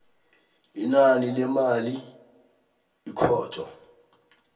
inani lemali ikhotho